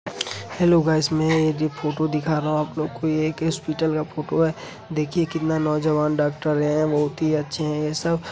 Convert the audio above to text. Hello guys मैं ये जे फोटो दिखा रहा हूं आप लोग को यह एक हॉस्पिटल का फोटो है देखिए कितना नौजवान डॉक्टर है बहोत ही अच्छे हैं ये सब।